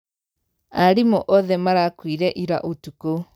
Arimũ othe marakuire ira ũtukũ.